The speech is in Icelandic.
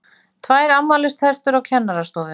TVÆR AFMÆLISTERTUR Á KENNARASTOFU